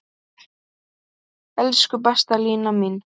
Elsku besta Lína mín.